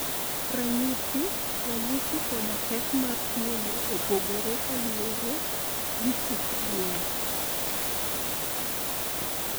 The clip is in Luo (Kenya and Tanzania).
Ranyisi, ranyisi koda pek mar tuwono opogore kaluwore gi kit tuwono.